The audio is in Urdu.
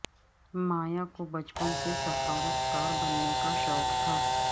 مایا کو بچپن سے سفارتکار بننے کا شوق تھا